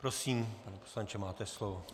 Prosím, pane poslanče, máte slovo.